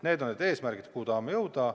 Need on need eesmärgid, kuhu me tahame jõuda.